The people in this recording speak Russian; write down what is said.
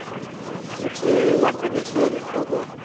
включи я франкенштейн хэ дэ